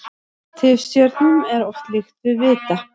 Tifstjörnum er oft líkt við vita.